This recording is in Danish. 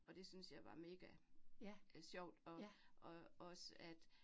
Og det syntes jeg var megasjovt og og også at